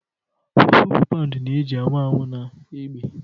Fufu bụ paụnd na-eji anwụ anwụ na egbe